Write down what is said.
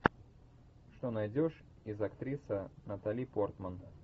что найдешь из актриса натали портман